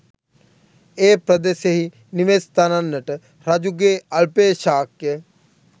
ඒ පෙදෙසෙහි නිවෙස් තනන්නට රජුගේ අල්පේශාක්‍ය